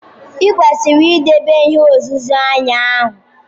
I kwesiri idebe ihe nzuzo anyi o!